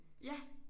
Ja